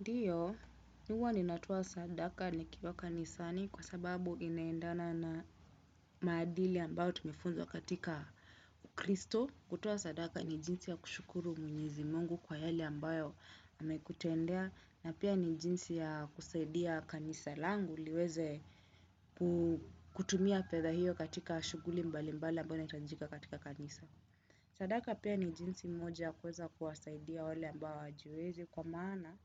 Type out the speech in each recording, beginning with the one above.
Ndiyo, huwa ninatoa sadaka nikiwa kanisani kwa sababu inaendana na maadili ambayo tumefunzwa katika ukristo. Kutoa sadaka ni jinsi ya kushukuru mwenyezi mungu kwa yale ambayo amekutendea. Na pia ni jinsi ya kusaidia kanisa langu liweze kutumia pesa hiyo katika shuguli mbali mbali ambayo inahitajika katika kanisa. Sadaka pia ni jinsi moja kuweza kuwasaidia wale ambao hawajiwezi kwa maana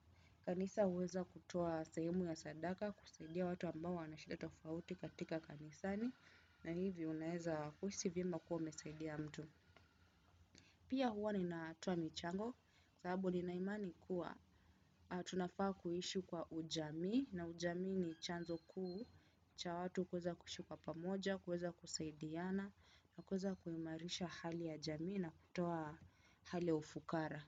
kanisa huweza kutoa sehemu ya sadaka kusaidia watu ambao wanashida tofauti katika kanisani na hivi unaeza kuhisi vyema kuwa umesaidia mtu. Pia huwa ni natoa michango kwa sababu nina imani kuwa tunafaa kuishi kwa ujami na ujami ni chanzo kuu cha watu kuweza kuishi kwa pamoja, kuweza kusaidiana na kuweza kuimarisha hali ya jami na kutoa hali ya ufukara.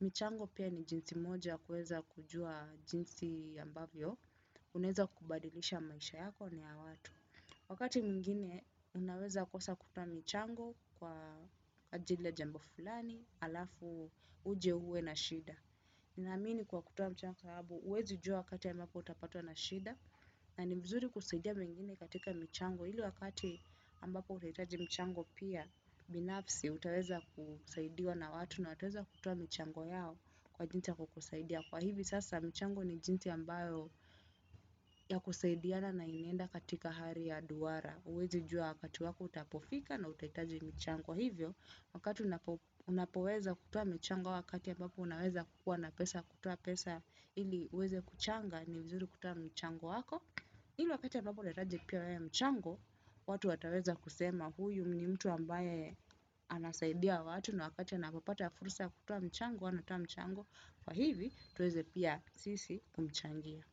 Michango pia ni jinsi moja ya kuweza kujua jinsi ambavyo uneza kubadilisha maisha yako na ya watu. Wakati mwingine ninaweza kosa kutoa michango kwa ajili ya jambo fulani alafu uje uwe na shida. Nina amini kwa kutoa mchango kwa sababu huwezi jua wakati ambapo utapatwa na shida na ni mzuri kusaidia wengini katika mchango. Hili wakati ambapo utahitaji mchango pia binafsi utaweza kusaidiwa na watu na wataeza kutoa michango yao kwa jinta kukusaidia. Kwa hivi sasa mchango ni jinsi ambayo ya kusaidiana na inaenda katika hali ya duwara huwezi jua wakati wako utapofika na utahitaji mchango. Hivyo wakati unapoweza kutoa mchango wakati ya ambapo unaweza kukuwa na pesa kutoa pesa ili uweze kuchanga ni vizuri kutoa mchango wako. Hili wakati ya amapo unahitaji pia wewe mchango. Watu wataweza kusema huyu ni mtu ambaye anasaidia watu. Na wakati ya anapopata furusa kutoa mchango wana utahitaji mchango kwa hivi, tuweze pi ya sisi kumchangia.